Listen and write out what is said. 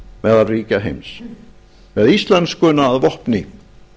meðal ríkja heims með íslenskuna að vopni